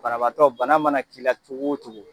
Banabatɔ bana mana k'i la cogo o cogo